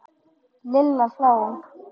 Lilla hló.